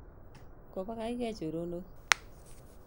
Kobakaike choronok